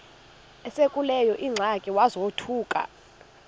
esekuleyo ingxaki wazothuka